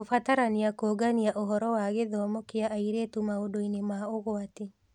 Kũbatarania kũũngania ũhoro wa gĩthomo kĩa airĩtu maũndũ-inĩ ma ũgwati